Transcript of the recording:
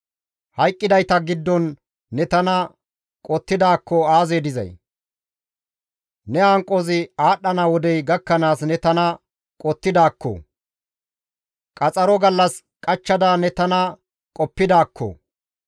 «Hayqqidayta giddon ne tana qottidaakko aazee dizay! Ne hanqozi aadhdhana wodey gakkanaas ne tana qottidaakko! Qaxaro gallas qachchada ne tana qoppidaakko!